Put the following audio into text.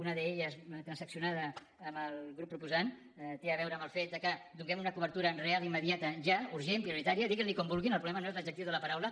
una d’elles transaccionada amb el grup proposant té a veure amb el fet que donem una cobertura real i immediata ja urgent prioritària diguin li com vulguin el problema no és l’adjectiu de la paraula